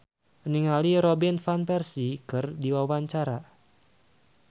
Latief Sitepu olohok ningali Robin Van Persie keur diwawancara